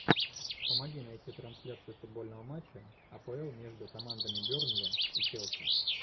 помоги найти трансляцию футбольного матча апл между командами бернли и челси